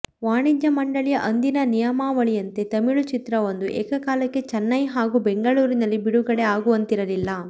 ವಾಣಿಜ್ಯ ಮಂಡಳಿಯ ಅಂದಿನ ನಿಯಮಾವಳಿಯಂತೆ ತಮಿಳು ಚಿತ್ರವೊಂದು ಏಕಕಾಲಕ್ಕೆ ಚೆನ್ನೈ ಹಾಗೂ ಬೆಂಗಳೂರಿನಲ್ಲಿ ಬಿಡುಗಡೆ ಆಗುವಂತಿರಲಿಲ್ಲ